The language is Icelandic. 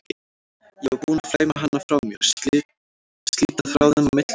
Ég var búin að flæma hana frá mér, slíta þráðinn á milli okkar.